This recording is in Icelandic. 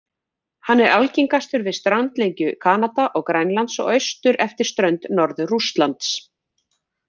Hann er algengastur við strandlengju Kanada og Grænlands og austur eftir strönd Norður-Rússlands.